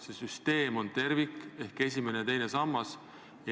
See süsteem on tervik, mis koosneb mitmest sambast.